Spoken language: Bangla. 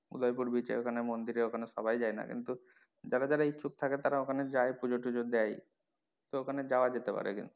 উদয়পুর beach এর ওখানে মন্দিরের ওখানে সবাই যায়না কিন্তু যারা যারা ইচ্ছুক থাকে তারা ওখানে যায় পুজো টুজো দেয় তো ওখানে যাওয়া যেতে পারে কিন্তু।